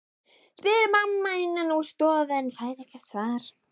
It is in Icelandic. spyr mamma innan úr stofu en fær ekkert svar.